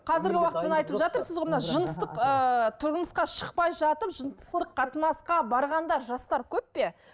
қазіргі уақыт жаңағы айтып жатырсыз ғой мына жыныстық ыыы тұрмысқа шықпай жатып жыныстық қатынасқа барғандар жастар көп пе